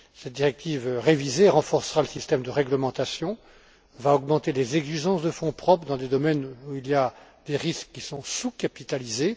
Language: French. Cette directive révisée renforcera le système de réglementation, va augmenter les exigences de fonds propres dans des domaines où il y a des risques qui sont sous capitalisés.